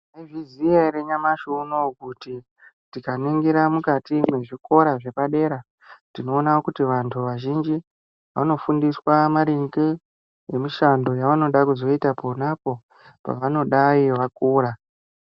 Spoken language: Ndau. Maizviziya ere nyamashi uno uyu kuti tikaningira mukati mwezvikora zvepadera, tinoona kuti vantu vazhinji vanofundiswa maringe ngemishando yavanoda kuzoita ponapo pavanodai vakura.